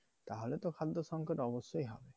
তাহলে তো খাদ্যসঙ্কত অবশ্যই হবে।